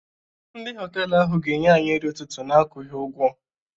Ndị họtelu ahụ ga-enye anyị nri ụtụtụ n'akwughị ụgwọ.